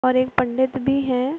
और एक पंडित भी हैं।